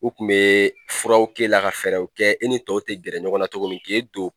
U kun bɛ furaw k'e la ka fɛɛrɛw kɛ i ni tɔw tɛ gɛrɛ ɲɔgɔn na cogo min k'e don